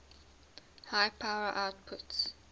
high power outputs